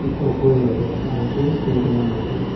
Ikũngũĩro rĩa Bantu nĩ rĩa mwanya.